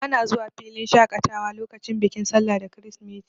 Bana zuwa filin shaƙatawa lokacin bikin sallah da kirisimeti.